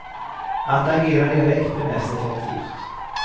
Att agera direkt är mest effektivt.